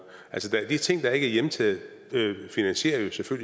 altså de ting der ikke er hjemtaget finansierer